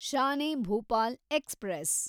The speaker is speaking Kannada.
ಶಾನ್ ಎ ಭೋಪಾಲ್ ಎಕ್ಸ್‌ಪ್ರೆಸ್